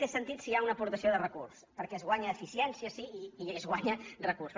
té sentit si hi ha una aportació de recurs perquè es guanya eficiència sí i es guanya recurs